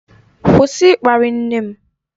Kwụsị ịkparị nne m!